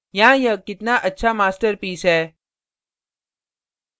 यहाँ यह कितना अच्छा master piece है